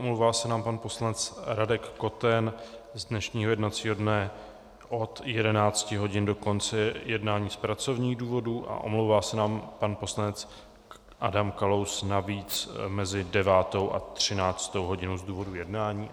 Omlouvá se nám pan poslanec Radek Koten z dnešního jednacího dne od 11 hodin do konce jednání z pracovních důvodů a omlouvá se nám pan poslanec Adam Kalous navíc mezi 9. a 13. hodinou z důvodu jednání.